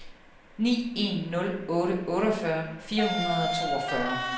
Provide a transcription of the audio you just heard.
ni en nul otte otteogfyrre fire hundrede og toogfyrre